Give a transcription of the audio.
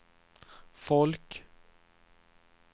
folk